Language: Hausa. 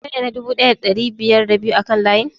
Kai ne na dubu ɗaya da ɗari biyar da biyu a kan layin?